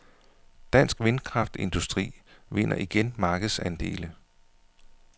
Dansk vindkraftindustri vinder igen markedsandele.